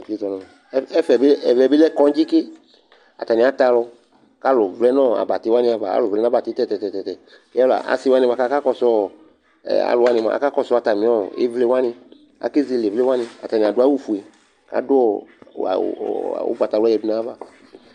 Ɛfɛ bɩ ɛvɛ bɩ lɛ kɔŋdzɩ ke Atanɩ atɛ alʋ kʋ alʋ vlɛ nʋ abatɩ wanɩ ava Alʋ vlɛ nʋ abatɩ tɛ-tɛ-tɛ kʋ ɛvʋla asɩ wanɩ bʋa kʋ akakɔsʋ ɔ ɛ alʋ wanɩ mʋa, akakɔsʋ atamɩ ɔ ɩvlɩ wanɩ Akezele ɩvlɩ wanɩ Atanɩ adʋ awʋfue kʋ adʋ ɔ awʋ ʋgbatawla yǝdu nʋ ayava